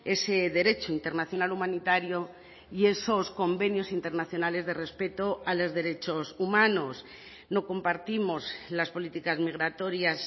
ese derecho internacional humanitario y esos convenios internacionales de respeto a los derechos humanos no compartimos las políticas migratorias